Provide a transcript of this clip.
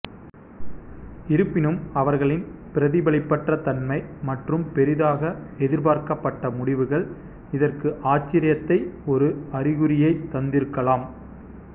இருப்பினும் அவர்களின் பிரதிபலிப்பற்றத்தன்மை மற்றும் பெரிதாக எதிர்பார்க்கப்பட்ட முடிவுகள் இதற்கு ஆச்சரியத்தைத் ஒரு அறிகுறியைத் தந்திருக்கலாம்